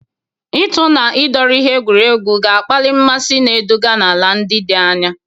Ịtụ na ịdọrọ ihe egwuregwu ga-akpali mmasị, na-eduga n'ala ndị dị anya.